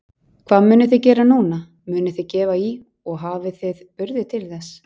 Hvað munuð þið gera núna, munuð þið gefa í og hafið þið burði til þess?